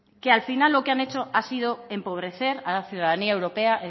que al final lo que han hecho ha sido empobrecer a la ciudadanía europea